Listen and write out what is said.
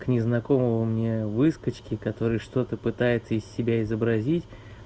к незнакомому мне выскочке который что-то пытается из себя изобразить